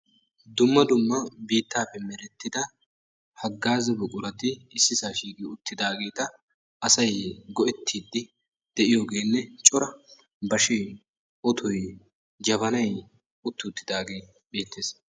Dumma dumma biittaappe merettida haggaaza buqurati ssisaa shiiqi uttidaageeta asay go'ettiiddi de'iyogeenne cora bashee, otoy, jabanay uttidaagee beettees.